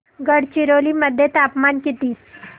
गडचिरोली मध्ये तापमान किती